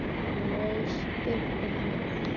Hann reis upp til hálfs.